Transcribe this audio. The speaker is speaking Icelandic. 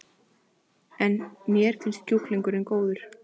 En: Mér finnst kjúklingurinn góður?